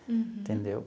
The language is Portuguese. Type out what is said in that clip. Uhum. Entendeu?